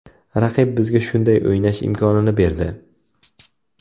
Raqib bizga shunday o‘ynash imkonini berdi.